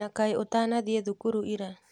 Na kaĩ ũtanathiĩ thukuru ira?